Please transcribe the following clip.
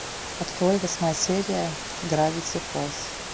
открой восьмая серия гравити фолз